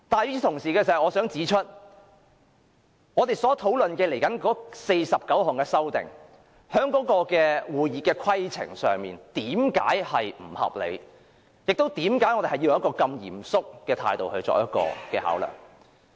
與此同時，我想指出為何我們接着討論的49項修訂在會議規程上並不合理，以及為何我們要抱持如此嚴肅的態度來考量。